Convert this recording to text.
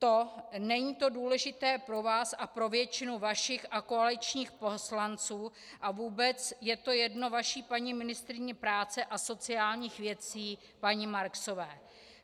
Vím, není to důležité pro vás a pro většinu vašich a koaličních poslanců, a vůbec je to jedno vaší paní ministryni práce a sociálních věcí paní Marksové.